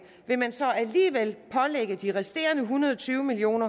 vil man så alligevel pålægge de resterende en hundrede og tyve million